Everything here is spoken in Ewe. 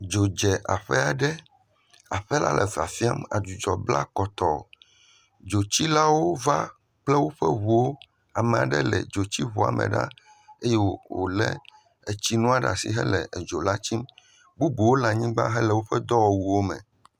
dzo dze aƒɛaɖe aƒɛ la le fafiam adzudzɔ bla kɔtɔŋ dzotsilawo va kple wóƒe ʋuwo amaɖe le dzotsiʋua mɛ ɖaa eye wòle etsiŋua ɖasi hele edzo la tsim bubuwo le anyigbã hele wóƒe dɔwɔwuowo me